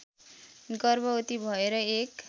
गर्भवती भएर एक